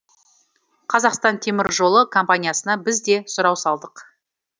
қазақстан темір жолы компаниясына біз де сұрау салдық